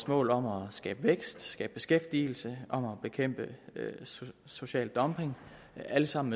målet om at skabe vækst skabe beskæftigelse om at bekæmpe social dumping alt sammen